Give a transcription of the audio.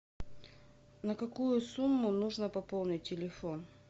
на какую сумму нужно пополнить телефон